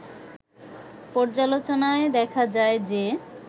পর্যালোচনায় দেখা যায় যে